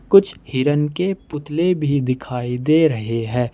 कुछ हिरण के पुतले भी दिखाई दे रहे हैं।